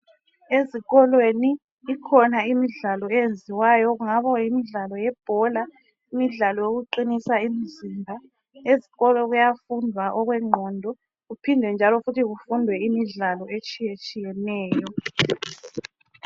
ezikolweni ikhona imidlalo eyenziwayo kungaba yimidlalo yebhola imidlalo yokuqinisa imizimba ezikolo kuyafundwa okwenqondo kuphinde njalo kufundwe okwemidlalo etshiyetshiyeneyo